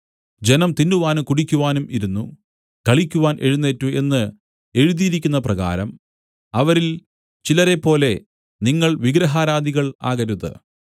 ജനം തിന്നുവാനും കുടിക്കുവാനും ഇരുന്നു കളിക്കുവാൻ എഴുന്നേറ്റു എന്ന് എഴുതിയിരിക്കുന്നപ്രകാരം അവരിൽ ചിലരെപ്പോലെ നിങ്ങൾ വിഗ്രഹാരാധികൾ ആകരുത്